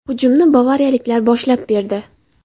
Hujumni bavariyaliklar boshlab berdi.